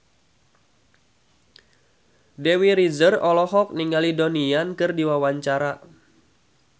Dewi Rezer olohok ningali Donnie Yan keur diwawancara